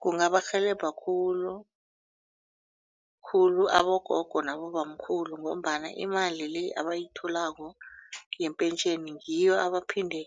Kungabarhelebha khulukhulu abogogo nabobamkhulu ngombana imali le abayitholako yepentjheni ngiyo abaphinde